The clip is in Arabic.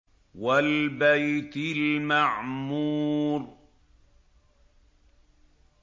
وَالْبَيْتِ الْمَعْمُورِ